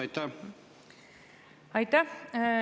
Aitäh!